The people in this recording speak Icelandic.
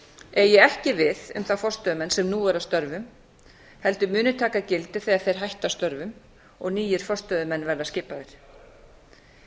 eigi ekki við um þá forstöðumenn sem nú eru að störfum heldur muni taka gildi þegar þeir hætta störfum og nýir forstöðumenn verða skipaðir ég vil